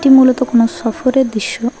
এটি মূলত কোনো সফরের দৃশ্য।